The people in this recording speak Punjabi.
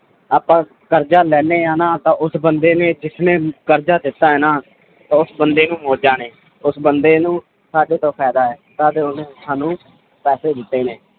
ਆਪਾਂ ਕਰਜ਼ਾ ਲੈਂਦੇ ਹਾਂ ਨਾ ਤਾਂ ਉਸ ਬੰਦੇ ਨੇ ਜਿਸਨੇ ਕਰਜ਼ਾ ਦਿੱਤਾ ਹੈ ਨਾ ਉਸ ਬੰਦੇ ਨੂੰ ਮੌਜਾਂ ਨੇ, ਉਸ ਬੰਦੇ ਨੂੰ ਸਾਡੇ ਤੋਂ ਫ਼ਾਇਦਾ ਹੈ ਤਦ ਉਹਨੇ ਸਾਨੂੰ ਪੈਸੇ ਦਿੱਤੇ ਨੇ